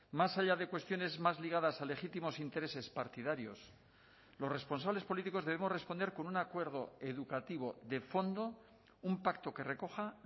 más allá de cuestiones más ligadas a legítimos intereses partidarios los responsables políticos debemos responder con un acuerdo educativo de fondo un pacto que recoja